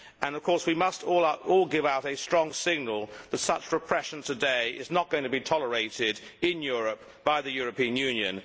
Of course we must all give out a strong signal that such repression today is not going to be tolerated in Europe by the European Union.